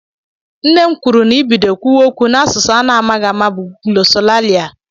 Nne m kwuru na i bido kwuwe okwu na-asụsụ a na-amaghị ámá bụ glọsọlalịa.